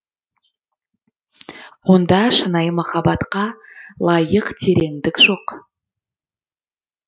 онда шынайы махаббатқа лайық тереңдік жоқ